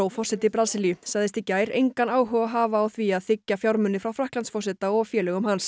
forseti Brasilíu sagðist í gær engan áhuga hafa á því að þiggja fjármuni frá Frakklandsforseta og félögum hans